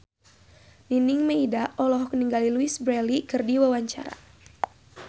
Nining Meida olohok ningali Louise Brealey keur diwawancara